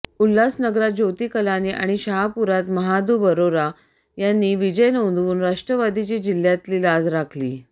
उल्हासनगरात ज्योती कलानी आणि शहापुरात महादू बरोरा यांनी विजय नोंदवून राष्ट्रवादीची जिल्ह्यातली लाज राखली